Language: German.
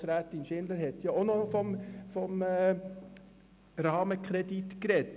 Grossrätin Schindler hat ebenfalls vom Rahmenkredit gesprochen.